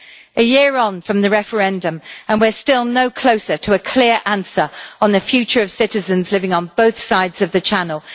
A year on from the referendum and we are still no closer to a clear answer on the future of citizens living on both sides of the Channel.